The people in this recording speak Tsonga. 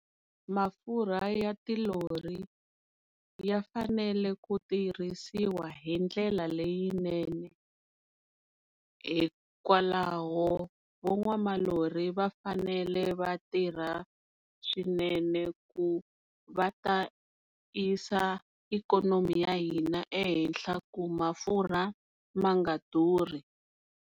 Mafurha ya tilori ya fanele ku tirhisiwa hindlela leyinene hikwalaho van'watilori va fanele va tirha swinene ku va ta yisa ikhonomi ya hina ehenhla ku mafurha ma nga durhi.